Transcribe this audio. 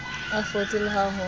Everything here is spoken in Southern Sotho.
a fotse le ha ho